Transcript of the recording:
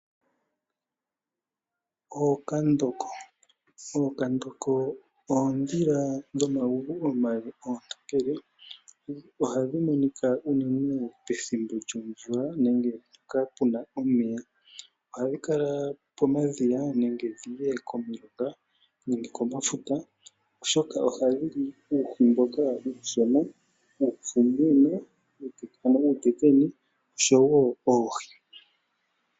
Oonkandoko oondhila uutokele dhina omagulu omale. Ohadhi monika unene pethimbo lyomvula nenge mpoka puna omeya ngaashi omadhiya, pomilonga nenge kooha dhefuta oshoka oha dhili uuhi uushona, uutekene oshowo oohi.